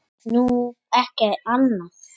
Nú, ekki annað.